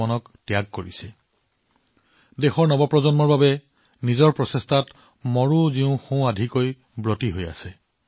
তেওঁলোকে আজি দেশৰ ভৱিষ্যৎ প্ৰজন্মৰ বাবে তেওঁলোকৰ প্ৰচেষ্টাত সক্ৰিয়ভাৱে নিয়োজিত হৈ আছে